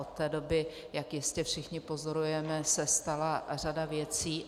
Od té doby, jak jistě všichni pozorujeme, se stala řada věcí.